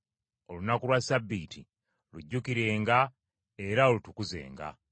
Olunaku lwa Ssabbiiti lujjukirenga era olutukuzenga.